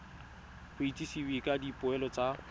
go itsisiwe ka dipoelo tsa